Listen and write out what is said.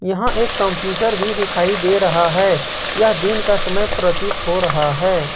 यहां एक कंप्यूटर भी दिखाई दे रहा है यह दिन का समय प्रतीत हो रहा है।